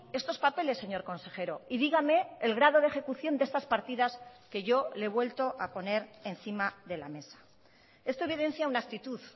estos papeles señor consejero y dígame el grado de ejecución de estas partidas que yo le he vuelto a poner encima de la mesa esto evidencia una actitud